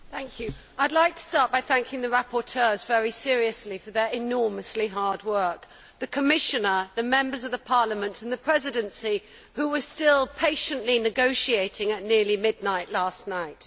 Madam President, I would like to start by thanking the rapporteurs very seriously for their enormously hard work, and the Commissioner, the Members of the Parliament and the Presidency who were still patiently negotiating at nearly midnight last night.